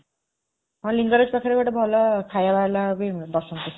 ହଁ, ଲିଙ୍ଗରାଜ ପାଖରେ ଗୋଟେ ଭଲ ଖାଇବା ବାଲା ବି ବସୁଛି।